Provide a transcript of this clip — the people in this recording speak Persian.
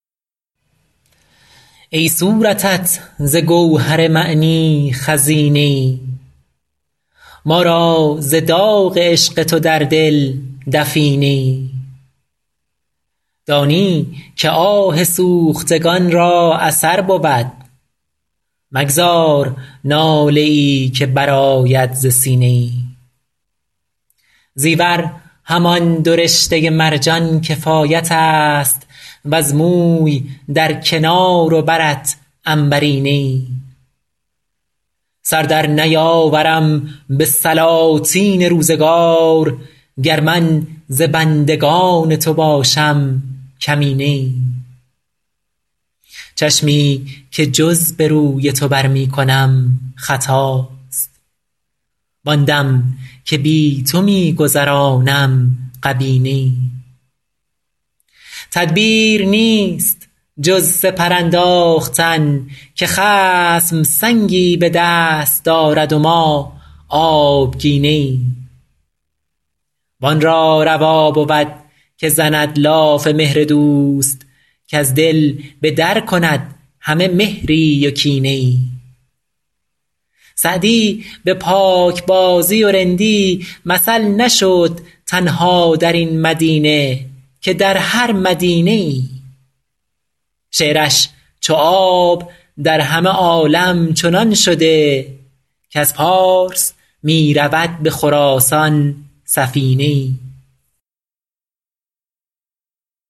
ای صورتت ز گوهر معنی خزینه ای ما را ز داغ عشق تو در دل دفینه ای دانی که آه سوختگان را اثر بود مگذار ناله ای که برآید ز سینه ای زیور همان دو رشته مرجان کفایت است وز موی در کنار و برت عنبرینه ای سر در نیاورم به سلاطین روزگار گر من ز بندگان تو باشم کمینه ای چشمی که جز به روی تو بر می کنم خطاست وآن دم که بی تو می گذرانم غبینه ای تدبیر نیست جز سپر انداختن که خصم سنگی به دست دارد و ما آبگینه ای وآن را روا بود که زند لاف مهر دوست کز دل به در کند همه مهری و کینه ای سعدی به پاکبازی و رندی مثل نشد تنها در این مدینه که در هر مدینه ای شعرش چو آب در همه عالم چنان شده کز پارس می رود به خراسان سفینه ای